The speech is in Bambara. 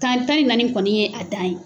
San tani naani de kɔni y' a dan ye.